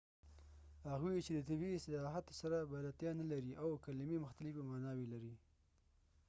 هغوۍ چې د طبي اصطلاحاتو سره بلدتیا نلري infectious او contagoius کلمي مختلفي معناوي لري